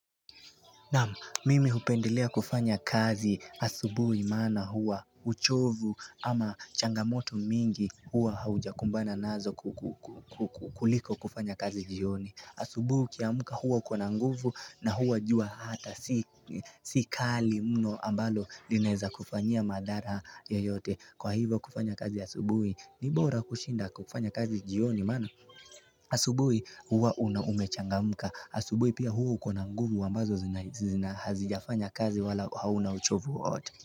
Naam mimi upendelea kufanya kazi asubui mana huwa uchovu ama changamoto mingi huwa haujakumbana nazo kuliko kufanya kazi jioni asubui ukiamuka huwa uko na nguvu na huwa jua hata si kali mno ambalo linaeza kufanyia madhara yoyote kwa hivyo kufanya kazi asubui ni bora kushinda kufanya kazi jioni mana asubui huwa umechangamuka Asubui pia huwa uko na nguvu ambazo Hazijafanya kazi wala hauna uchovu hot.